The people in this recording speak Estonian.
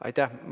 Aitäh!